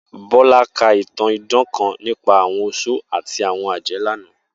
Bola ka itan idan kan nipa awọn oṣó ati awọn ajẹ lana.